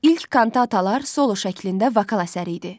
İlk kantatalar solo şəklində vokal əsəri idi.